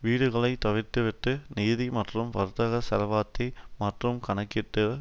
வீடுகளை தவிர்த்து விட்டு நிதி மற்றும் வர்த்தக செல்வத்தை மட்டுமே கணக்கிட்டால்